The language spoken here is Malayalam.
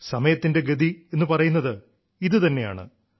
സമയത്തിന്റെ ഗതിയെന്നു പറയുന്നത് ഇതു തന്നെയാണ്